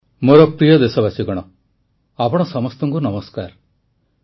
୧୦୦ କୋଟି ଡୋଜ ଟିକାଦାନ ପରେ ଆଜି ଦେଶ ନୂତନ ଉତ୍ସାହ ନୂତନ ଶକ୍ତି ସହିତ ଆଗକୁ ବଢ଼ୁଛି ପ୍ରଧାନମନ୍ତ୍ରୀ